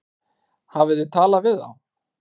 Hafið þið talað við þá?